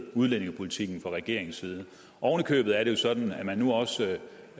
udlændingepolitikken fra regeringens side oven i købet er det jo sådan at man nu også